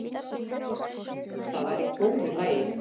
Það var í góðu lagi.